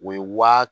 O ye wa